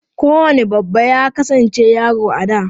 Kowane babba ya kasance yaro a da.